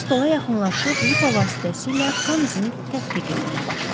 Holmes stola yaxınlaşıb, lupa vasitəsilə qan izini tədqiq etməyə başladı.